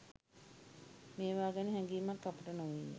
මේවා ගැන හැඟීමක් අපට නොවිය.